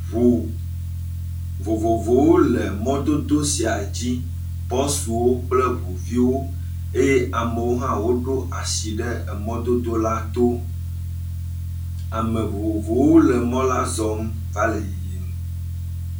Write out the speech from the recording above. Vovovowo le mɔdodo sia dzi. Bɔsuwo kple ŋuviwo eye amewo ɖo asi ɖe emɔ dodo la to. Ame vovovowo le mɔ la zɔm va le yiyim.